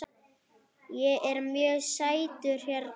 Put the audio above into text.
Ég er mjög sáttur hérna.